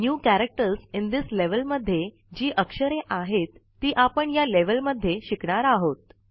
new character in this level मध्ये जी अक्षरे आहेत ती आपण या लेव्हल मध्ये शिकणार आहोत